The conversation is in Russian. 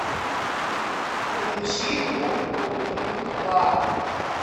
включи группу ю два